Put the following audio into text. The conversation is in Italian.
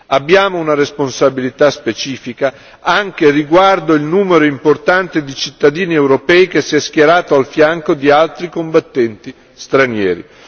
Abbiamo una responsabilità specifica anche riguardo il numero importante di cittadini europei che si è schierato al fianco di altri combattenti stranieri.